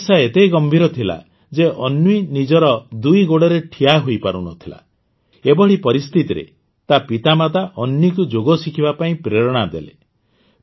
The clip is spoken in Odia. ସମସ୍ୟା ଏତେ ଗମ୍ଭୀର ଥିଲା ଯେ ଅନ୍ୱୀ ନିଜର ଦୁଇ ଗୋଡ଼ରେ ଠିଆ ହୋଇପାରୁନଥିଲା ଏଭଳି ପରିସ୍ଥିତିରେ ତା ମାତାପିତା ଅନ୍ୱୀକୁ ଯୋଗ ଶିଖିବା ପାଇଁ ପ୍ରେରଣା ଦେଲେ